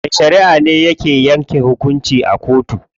Mai shariʼa ne ke yanke hukunci a kotu.